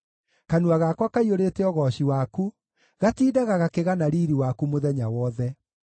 Kanua gakwa kaiyũrĩte ũgooci waku, gatindaga gakĩgana riiri waku mũthenya wothe.